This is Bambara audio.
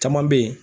Caman bɛ yen